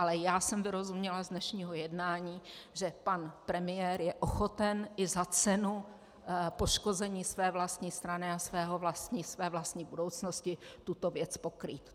Ale já jsem vyrozuměla z dnešního jednání, že pan premiér je ochoten i za cenu poškození své vlastní strany a své vlastní budoucnosti tuto věc pokrýt.